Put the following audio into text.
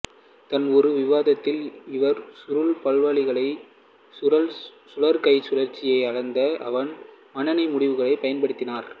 தன் ஒரு விவாதத்தில் இவர் சுருள் பால்வெளிகளின் சுருள் கைச் சுழற்சியை அளந்த வான் மானனின் முடிவுகளைப் பயன்படுத்தினார்